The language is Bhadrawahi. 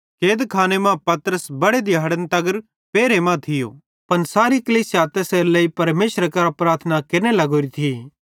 कैदखाने मां पतरस बड़े दिहाड़न तगर पेरहे मां थियो पन सारी कलीसिया तैसेरेलेइ परमेशरे कां प्रार्थना केरने लगोरी थी